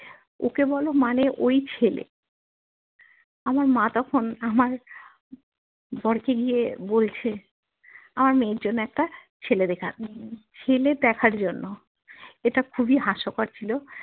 ওকে বোলো মানে ওই ছেলে আমার মা তখন আমার বরকে গিয়ে বলছে আমার মেয়ের জন্যে একটা ছেলে দেখা ছেলে দেখার জন্য এটা খুবই হাস্য কর ছিল